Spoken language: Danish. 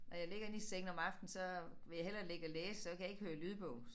Når jeg ligger inde i sengen om aftenen så vil jeg hellere ligge og læse så kan jeg ikke høre lydbog